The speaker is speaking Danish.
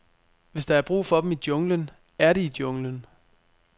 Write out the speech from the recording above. Hvis der er brug for dem i junglen, er de i junglen.